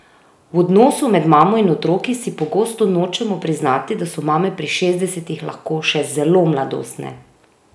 V odnosu med mamo in otroki si pogosto nočemo priznati, da so mame pri šestdesetih lahko še zelo mladostne!